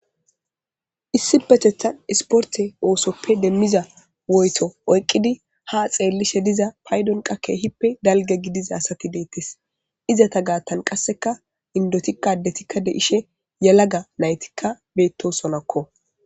issi petethan isporte oosoppe demmiza woyto oyqqidi ha xeellishe diza paydon qakke hippe dalge gidiza asati deettes izata gaattan qasseka indotikadetikka de ishe yalaga naytikka beettosonakko